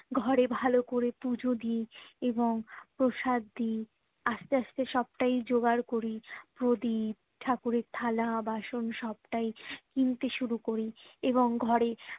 ঘরে ভালো করে পুজো দি এবং প্রসাদ দি আস্তে আস্তে সবটাই জোগাড় করি প্রদীপ ঠাকুরের থালা বাসন সবটাই কিনতে শুরু করি এবং ঘরে